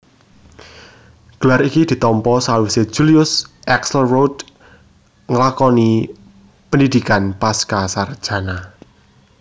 Gelar iki ditampa sawisé Julius Axelrod nglakoni pendhidhikan pascasarjana